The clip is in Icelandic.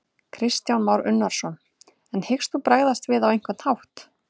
Kristján Már Unnarsson: En hyggst þú bregðast við á einhvern hátt?